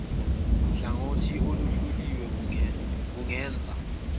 hlangothi oluhluliwe bungenza